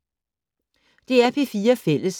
DR P4 Fælles